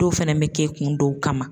Dɔw fɛnɛ be kɛ kun dɔw kama.